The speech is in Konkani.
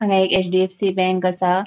हान्गा एक एच.डी.एफ.सी. बैंक आसा.